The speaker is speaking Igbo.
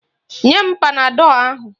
Nye m panadọl ahụ!